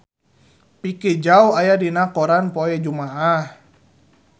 Vicki Zao aya dina koran poe Jumaah